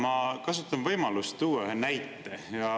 Ma kasutan võimalust ja toon ühe näite.